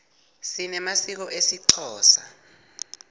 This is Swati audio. sinemasiko esixhosa